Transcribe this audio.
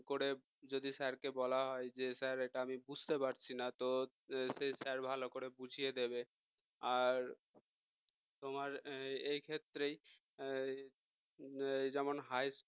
করে যদি sir কে বলা হয় যে স্যার এটা আমি বুঝতে পারছি না তো সেই sir ভালো করে বুঝিয়ে দেবে আর তোমার এই ক্ষেত্রেই যেমন high school